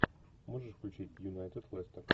можешь включить юнайтед лестер